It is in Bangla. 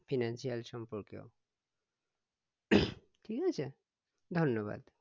Financial সম্পর্কেও ঠিক আছে ধন্যবাদ